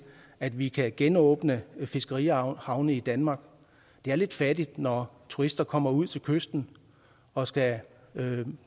at vi kan genåbne fiskerihavne i danmark det er lidt fattigt når turister kommer ud til kysten og skal